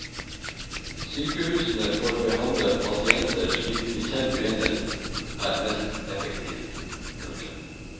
Sykehusene får behandle pasienter slik de selv mener er mest effektivt. punktum